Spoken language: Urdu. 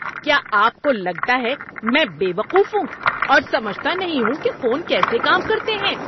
کیا آپ کو لگتا ہے میں بے وقوف ہوں اور سمجھتا نہیں ہوں کہ فون کیسے کام کرتے ہیں؟